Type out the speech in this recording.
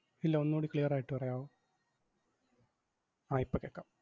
ഇല്ല ഒന്നൂടി clear ആയിട്ട് പറയാവോ? ആഹ് ഇപ്പം കേക്കാം.